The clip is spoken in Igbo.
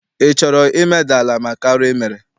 Ị chọrọ imeda ala maka arụ I mere?